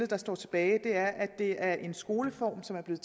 der står tilbage er at det er en skoleform som er blevet